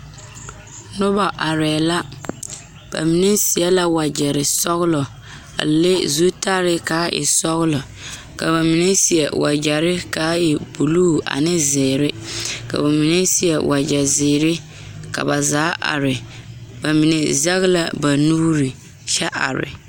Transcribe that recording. Noba arɛɛ la ba mine seɛ la wagyɛ sɔgelɔ a le zutare kaa e sɔgelɔ ka ba mine seɛ wagyere kaa e buluu ane zeere ka ba mine seɛ wagye zeere ka ba zaa are ba mine seg la ba nuure kyɛ are